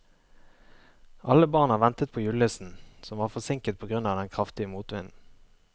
Alle barna ventet på julenissen, som var forsinket på grunn av den kraftige motvinden.